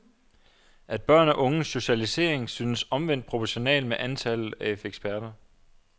At børn og unges socialisering synes omvendt proportional med antallet af eksperter.